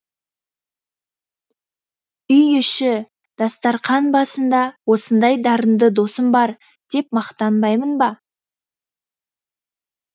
үй іші дастарқан басында осындай дарынды досым бар деп мақтанбаймын ба